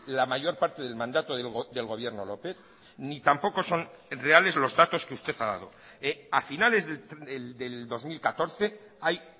la mayor parte del mandato del gobierno lópez ni tampoco son reales los datos que usted ha dado a finales del dos mil catorce hay